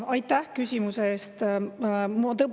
Aitäh küsimuse eest!